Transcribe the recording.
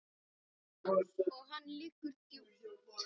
Og hann liggur djúpt